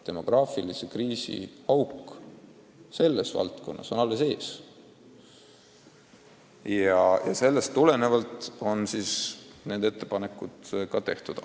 Demograafilise kriisi pauk selles valdkonnas on alles ees, aga sellest tulenevalt on need ettepanekud tehtud.